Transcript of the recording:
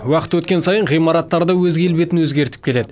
уақыт өткен сайын ғимараттар да өз келбетін өзгертіп келеді